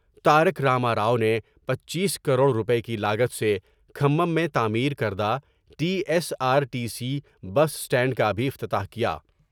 تارک راما راؤ نے پنچیس کروڑ روپے کی لاگت سے کھمم میں تعمیر کردہ T S R T C bus stand کا بھی افتتاح کیا ۔